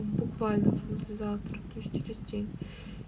в буквальном смысле завтра то есть через день